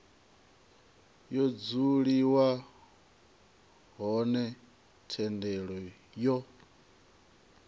ha dzuliwa hone thendelo yo